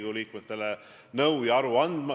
Hanno Pevkur, täpsustav küsimus.